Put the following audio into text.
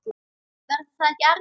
Verður það ekki erfitt?